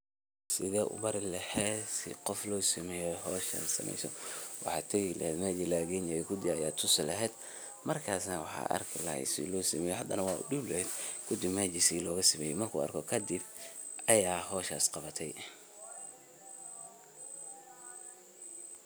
Sethi u Mari aheet si Qoof losameeyoh hooshan waxa tagi laheet meshan laga adega laheet kuudi Aya tosi laheet, markas waxan arki lahay sethi lo sameeyoh hadana wan u deebi lahay kuddi meesha sethi loga sameeyoh marku arkoh kadib Aya hooshaas Qabtay.